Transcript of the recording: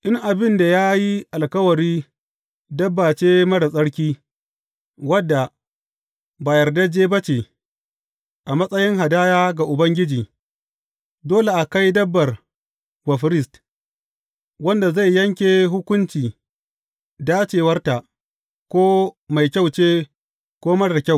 In abin da ya yi alkawari dabba ce marar tsarki, wadda ba yardajje ba ce, a matsayin hadaya ga Ubangiji, dole a kai dabbar wa firist, wanda zai yanke hukunci dacewarta, ko mai kyau ce, ko marar kyau.